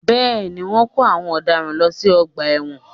Bẹ́ẹ̀ ni, wọ́n ń kó àwọn ọ̀daràn lọ sí ọgbà ẹ̀wọ̀n